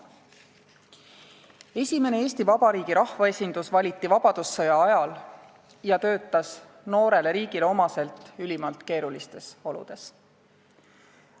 Esimene Eesti Vabariigi rahvaesindus valiti vabadussõja ajal ja töötas noorele riigile omaselt ülimalt keerulistes oludes.